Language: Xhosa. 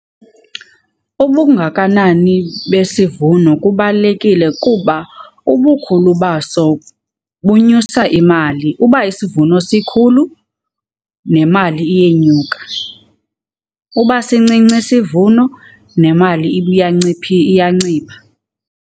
Ubungakanani besivuno kubalulekile kuba ubukhulu baso bunyusa imali. Uba isivuno sikhulu nemali iyenyuka, uba sincinci isivuno nemali iyancipha.